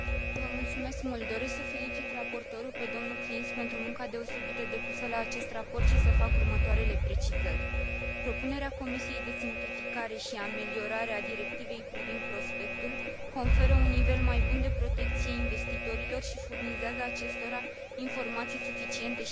Doresc să felicit raportorul, pe dl Klinz, pentru munca deosebită depusă la acest raport și să fac următoarele precizări propunerea Comisiei de simplificare și ameliorare a Directivei privind prospectul conferă un nivel mai bun de protecție investitorilor și furnizează acestora informații suficiente și adecvate.